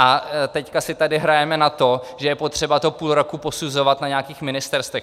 A teď si tady hrajeme na to, že je potřeba to půl roku posuzovat na nějakých ministerstvech.